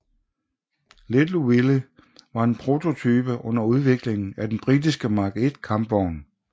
Little Willie var en prototype under udviklingen af den britiske Mark I kampvogn